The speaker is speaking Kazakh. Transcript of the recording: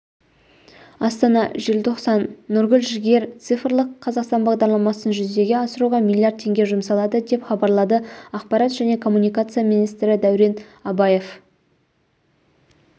астана желтоқсан нұргүл жігер цифрлық қазақстан бағдарламасын жүзеге асыруға миллиард теңге жұмсалады деп хабарлады ақпарат және коммуникация министрі дәурен абаев